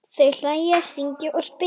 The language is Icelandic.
Þau hlæja, syngja og spila.